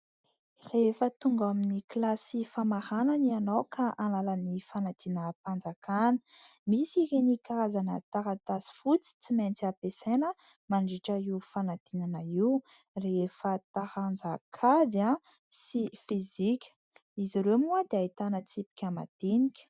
Rehefa tonga amin'ny kilasy famaranana ianao ka hanala ny fanadina-mpanjakana, misy ireny karazana taratasy fotsy tsy maintsy ampiasaina mandritra io fanadinana io ; rehefa taranja kajy sy fizika, izy ireo moa dia ahitana tsipika madinika.